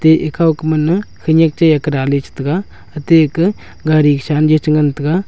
e ekhao ka manne khaniak che Kara ley che taiga ete ke gari sa an che ngan taiga.